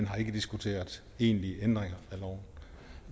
har ikke diskuteret egentlige ændringer af loven